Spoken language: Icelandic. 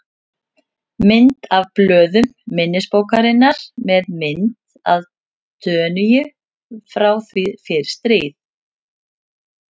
Mynd af blöðum minnisbókarinnar með mynd af Tönyu frá því fyrir stríð.